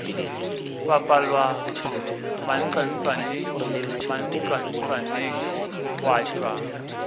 bapala mantlwantlwane mantlwantlwaneng gwa tšwa